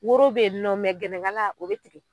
Woro be ye nɔ mɛ gɛlɛnkala o be tugu